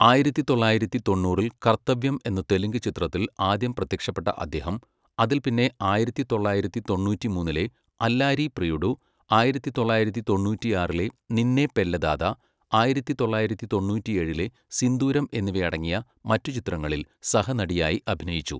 ആയിരത്തി തൊള്ളായിരത്തി തൊണ്ണൂറിൽ കർത്തവ്യം എന്ന തെലുങ്ക് ചിത്രത്തിൽ ആദ്യം പ്രത്യക്ഷപ്പെട്ട അദ്ദേഹം, അതിൽപ്പിന്നെ ആയിരത്തി തൊള്ളായിരത്തി തൊണ്ണൂറ്റിമൂന്നിലെ അല്ലാരി പ്രിയുഡു, ആയിരത്തി തൊള്ളായിരത്തി തൊണ്ണൂറ്റിയാറിലെ നിന്നെ പെല്ലദാതാ, ആയിരത്തി തൊള്ളായിരത്തി തൊണ്ണൂറ്റിയേഴിലെ സിന്ദൂരം എന്നിവയടങ്ങിയ മറ്റുചിത്രങ്ങളിൽ സഹനടനായി അഭിനയിച്ചു.